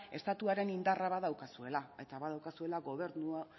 estatuaren indarra badaukazuela eta badaukazuela